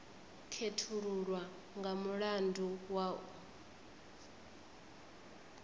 khethululwa nga mulandu wa u